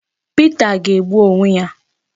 Pita ga-egbu onwe ya